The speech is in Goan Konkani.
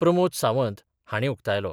प्रमोद सावंत हांणी उक्तायलो.